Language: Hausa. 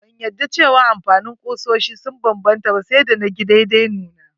Ban yadda cewa amfanin kusoshi ya banbanta ba sai da na gi daidanuna.